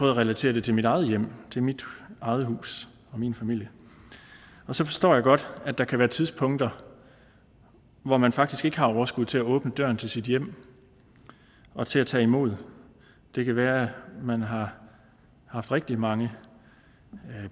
at relatere det til mit eget hjem til mit eget hus og min familie og så forstår jeg godt at der kan være tidspunkter hvor man faktisk ikke har overskud til at åbne døren til sit hjem og til at tage imod det kan være at man har haft rigtig mange